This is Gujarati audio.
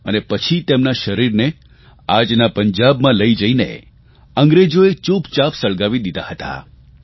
અને પછી તેમનાં શરીરને આજના પંજાબમાં લઇ જઇને અંગ્રેજોએ ચૂપચાપ સળગાવી દીધાં હતાં